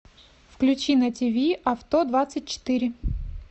включи на ти ви авто двадцать четыре